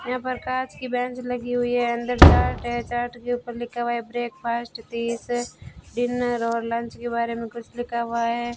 यहां पर कांच की बेंच लगी हुई है अंदर चार्ट है चार्ट के ऊपर लिखा हुआ है ब्रेकफास्ट दीस डिनर और लंच के बारे में कुछ लिखा हुआ है।